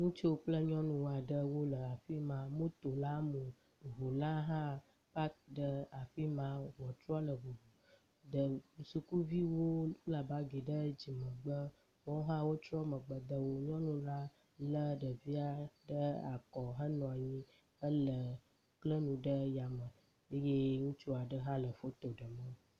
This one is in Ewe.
Ŋutsu kple nyɔnu aɖe wole afi ma moto la mɔ, ŋu la hã paki ɖe afi ma ŋutrɔ le ŋuŋu…. Sukuviwo kpla bagi ɖe dzimegbe woawo hã trɔ megbe de wo. Nyɔnu la lé ɖevia ɖe akɔ henɔ anyi hele kle nu ɖe yame eye ŋutsu aɖe hã le foto ɖem wo